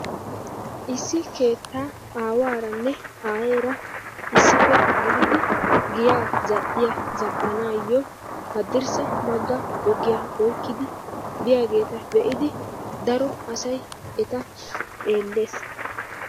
Issi keettaa aawaaranne aayeera issippe gididi giyaa zal"iya zal"anaayyo haddirssa bagga ogiya oykkidi biyageeta be'idi daro asaybeta xeellees.